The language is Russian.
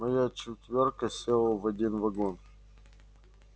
моя четвёрка села в один вагон